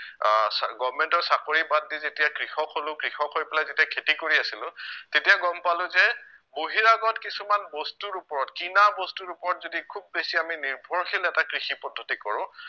আহ goverment ৰ চাকৰি বাদ দি যেতিয়া কৃষক হলো কৃষক হৈ পেলাই যেতিয়া খেতি কৰি আছিলো তেতিয়া গম পালো যে বহিৰাগত কিছুমান বস্তুৰ ওপৰত কিনা বস্তুৰ ওপৰত যদি খুউব বেছি আমি নিৰ্ভৰশীল এটা কৃষি পদ্ধতি কৰো